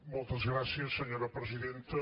moltes gràcies senyora presidenta